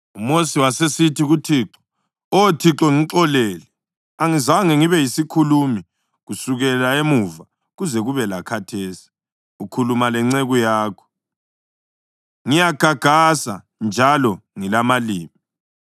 UMosi wasesithi kuThixo, “Oh Thixo, ngixolele, angizange ngibe yisikhulumi kusukela emuva kuze kube lakhathesi ukhuluma lenceku yakho. Ngiyagagasa njalo ngilamalimi.”